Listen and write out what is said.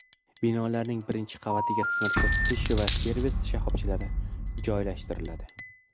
Binolarning birinchi qavatiga xizmat ko‘rsatish va servis shoxobchalari joylashtiriladi.